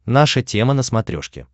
наша тема на смотрешке